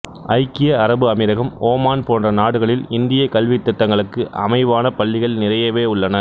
ஐக்கிய அரபு அமீரகம் ஓமான் போன்ற நாடுகளில் இந்தியக் கல்வித் திட்டங்களுக்கு அமைவான பள்ளிகள் நிறையவே உள்ளன